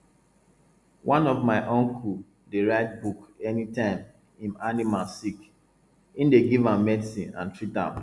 one of my uncle dey write book any time im animal sick im dey give am medicine and treat am